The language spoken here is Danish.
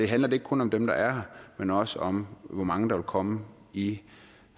handler det ikke kun om dem der er her men også om hvor mange der vil komme i